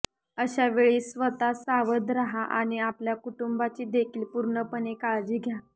अशा वेळी स्वतःसावध राहा आणि आपल्या कुटुंबाची देखील पूर्णपणे काळजी घ्या